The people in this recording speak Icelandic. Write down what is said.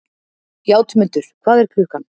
Játmundur, hvað er klukkan?